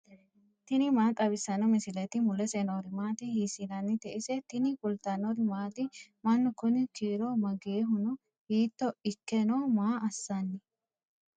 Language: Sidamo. tini maa xawissanno misileeti ? mulese noori maati ? hiissinannite ise ? tini kultannori maati? Mannu kunni kiiro mageehu noo? hiitto ikke nooho? maa assanni?